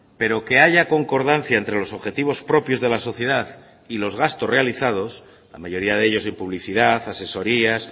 pero que haya concordancia entre los objetivos propios de la sociedad y los gastos realizados la mayoría de ellos en publicidad asesorías